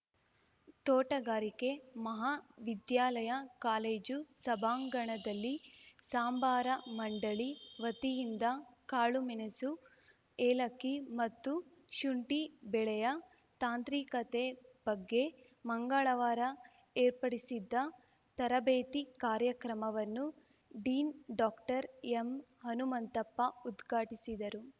ತೋಟಗಾರಿಕೆ ಮಹಾ ವಿದ್ಯಾಲಯ ಕಾಲೇಜು ಸಭಾಂಗಣದಲ್ಲಿ ಸಾಂಬಾರ ಮಂಡಳಿ ವತಿಯಿಂದ ಕಾಳುಮೆಣಸು ಏಲಕ್ಕಿ ಮತ್ತು ಶುಂಠಿ ಬೆಳೆಯ ತಾಂತ್ರಿಕತೆ ಬಗ್ಗೆ ಮಂಗಳವಾರ ಏರ್ಪಡಿಸಿದ್ದ ತರಬೇತಿ ಕಾರ್ಯಕ್ರಮವನ್ನು ಡೀನ್‌ ಡಾಕ್ಟರ್ಎಂಹನುಮಂತಪ್ಪ ಉದ್ಘಾಟಿಸಿದರು